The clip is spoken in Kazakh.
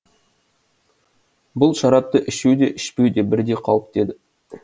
бұл шарапты ішу де ішпеу де бірдей қауіпті еді